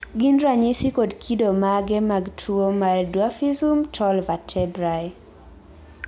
gin ranyisi kod kido mage mag tuwo mar Dwarfism tall vertebrae?